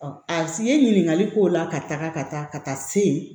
A si ye ɲininkali k'o la ka taga ka taa ka taa se